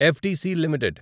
FDC limited